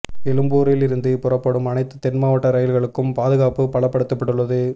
எழும்பூரில் இருந்து புறப்படும் அனைத்து தென்மாவட்ட ரயில்களுக்கும் பாதுகாப்பு பலப்படுத்தப்பட்டுள்ளது